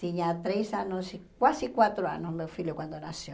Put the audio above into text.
Tinha três anos, quase quatro anos meu filho quando nasceu.